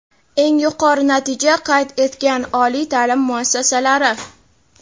Eng yuqori natija qayd etgan oliy taʼlim muassasalari:.